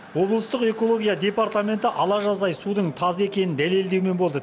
облыстық экология департаменті ала жаздай судың таза екенін дәлелдеумен болды